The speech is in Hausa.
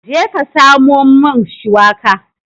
Jeka ka samo min shiwaka.